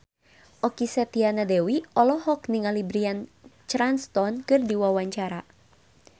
Okky Setiana Dewi olohok ningali Bryan Cranston keur diwawancara